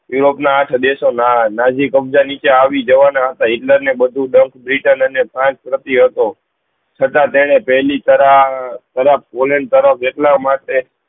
Europe ના આઠ દેશો નાજી કબ્જા નીચે આવી જવાના હતા હિટલર ને બધું દસ હતો છતાં એને પેહલી તરફ પોલેન્ડ તરફ જેટલા માટે